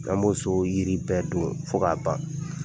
An b'o so yiri bɛɛ don fo k'a ban.